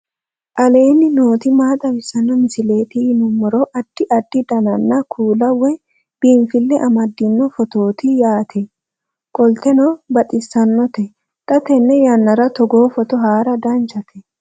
aleenni nooti maa xawisanno misileeti yinummoro addi addi dananna kuula woy biinfille amaddino footooti yaate qoltenno baxissannote xa tenne yannanni togoo footo haara danchate